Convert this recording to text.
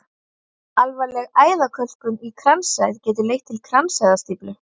Alvarleg æðakölkun í kransæð getur leitt til kransæðastíflu.